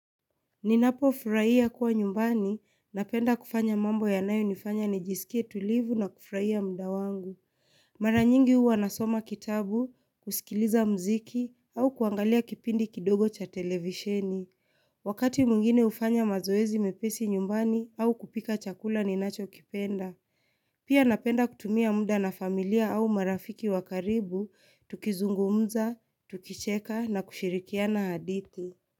Ninapofurahia kuwa nyumbani napenda kufanya mambo yanayo nifanya nijisikie tulivu na kufurahia mda wangu Mara nyingi huwa nasoma kitabu, kusikiliza mziki au kuangalia kipindi kidogo cha televisheni Wakati mwingine hufanya mazoezi mepesi nyumbani au kupika chakula ninachokipenda Pia napenda kutumia mda na familia au marafiki wa karibu, tukizungumza, tukicheka na kushirikiana hadithi.